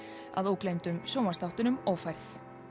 að ógleymdum sjónvarps þáttunum ófærð